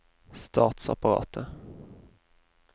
statsapparatet